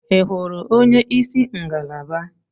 Ị hụrụ onyeisi ngalaba.?